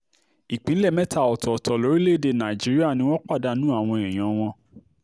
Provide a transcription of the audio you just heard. ìpínlẹ̀ mẹ́ta ọ̀tọ̀ọ̀tọ̀ lórílẹ̀-èdè nàìjíríà ni wọ́n pàdánù àwọn èèyàn wọn